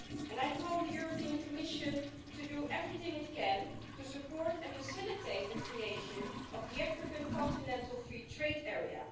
I call on the European Commission to do everything it can to support and facilitate the creation of the African Continental Free Trade Area.